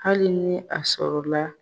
Hali ni a sɔrɔla